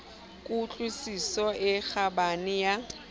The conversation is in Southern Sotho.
ku tlwisiso e kgabane ya